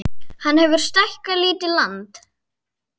Hann hefur stækkað lítið land